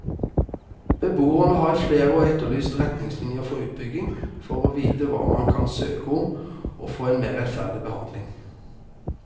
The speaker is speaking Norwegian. Beboerne har i flere år etterlyst retningslinjer for utbygging, for å vite hva man kan søke om og få en mer rettferdig behandling.